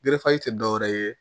tɛ dɔwɛrɛ ye